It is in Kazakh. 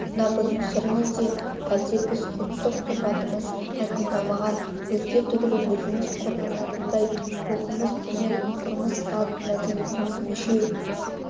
сонда бұның сыры неде әлде біз ұлттық тұрпатымыз айқындалмаған өзге түгілі өзіміз қорланатындай рухымыз төмен тұрмыс-салт мәдениетіміз мешеу